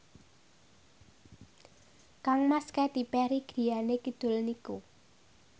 kangmas Katy Perry griyane kidul niku